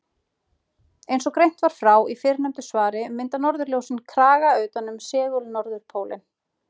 Eins og greint var frá í fyrrnefndu svari mynda norðurljósin kraga utan um segul-norðurpólinn.